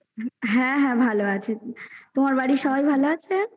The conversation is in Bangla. হ্যা হ্যা ভালো আছে তোমার বাড়ির সবাই ভালো আছে